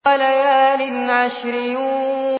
وَلَيَالٍ عَشْرٍ